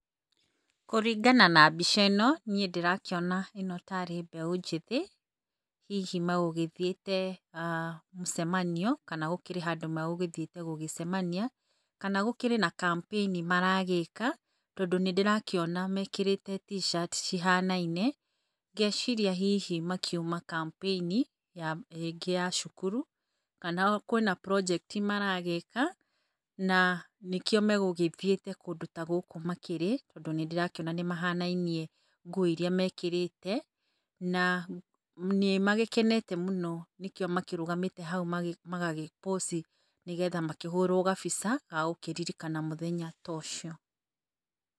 Kũringana na mbica-ino niĩ ndĩrakĩona yarĩ mbeũ njĩthĩ hihi magũgĩthiĩte [ah]mũcemanio kana gũkĩrĩ handũ magũthiĩte gũcemania kana gũkĩrĩ na kampĩini mara gĩka tondũ nĩndĩrakĩona mekĩrĩte T.shirt cihana-inĩ ngeciria hihi mauma kampĩini ĩngĩ ya cukuru kana kwĩna project maragĩka nanĩkĩo magũgĩthiĩte kũndũ ta gũkũ makĩrĩ tondũ nĩndĩrakĩona mahanainie nguo irĩa mekĩrĩte na nĩmagĩkenete mũno nanĩkĩo marũgamĩte magĩpũci makĩhũrwo gabica gagũkĩririkana mũthenya ta ũcio.